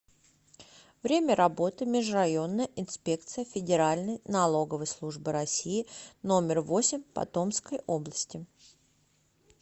время работы межрайонная инспекция федеральной налоговой службы россии номер восемь по томской области